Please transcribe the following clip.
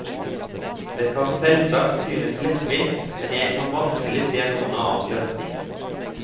Det kan selvsagt synes lettvint, men jeg kan vanskelig se noen annen løsning.